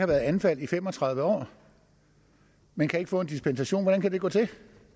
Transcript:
været anfald i fem og tredive år men kan ikke få en dispensation hvordan kan det gå til